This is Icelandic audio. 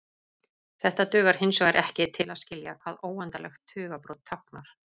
Þetta dugar hinsvegar ekki til að skilja hvað óendanlegt tugabrot táknar.